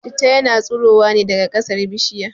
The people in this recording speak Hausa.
Citta yana tsurowa ne daga kasar bishirya